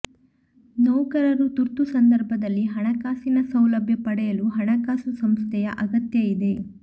ನೌಕರರು ತುರ್ತು ಸಂದರ್ಭದಲ್ಲಿ ಹಣಕಾಸಿನ ಸೌಲಭ್ಯ ಪಡೆಯಲು ಹಣಕಾಸು ಸಂಸ್ಥೆಯ ಅಗತ್ಯ ಇದೆ